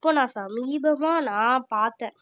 இப்போ நான் சமீபமா நான் பார்த்தேன்